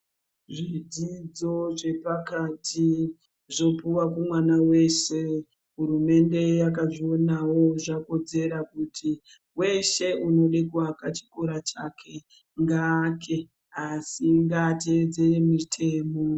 Zvidzidzo zvepakati zvopiwa kumwana wese hurumende yakazvionawo zvakodzera kuti wese unoda kuaka chikora chake ngaake asi ngaateedze mitemo.